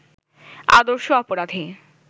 আদর্শ অপরাধী